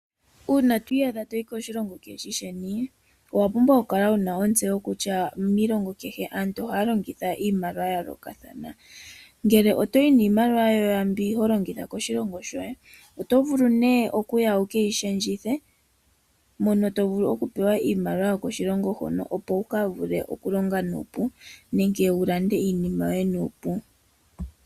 Uuna to iyadha to yi koshilongo kaashi shi sheni owa pumbwa okukala wu na ontseyo kutya miilongo kehe aantu ohaya longitha iimaliwa ya yoolokathana. Ngele oto yi niimaliwa mbyono ho longitha koshilongo shoye oto vulu oku yi shendja mono to vulu okupewa iimaliwa yokoshilongo hoka, opo wu ka vule oku ka longa nuupu nenge wu lande iinima yoye nuupu.